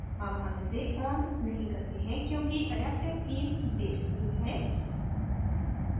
अब हम इसे on नहीं करते हैं क्योंकि adaptive theme base theme है